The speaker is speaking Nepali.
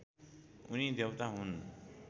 उनी देवता हुन्